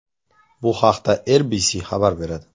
Bu haqda RBC xabar beradi .